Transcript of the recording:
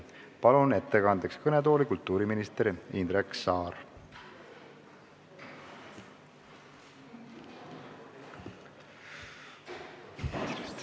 Palun ettekandeks kõnetooli kultuuriminister Indrek Saare!